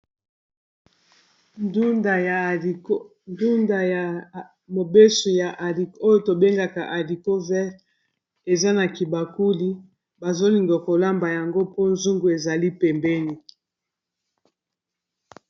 Ndunda ya mobeso oyo tobengaka haricot vert eza na kibakuli bazo linga kolamba yango mpo zungu ezali pembeni.